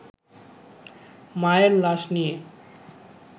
মায়ের লাশ নিয়ে